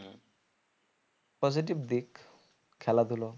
positive দিক খেলাধুলো